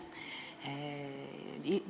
Hea Jüri!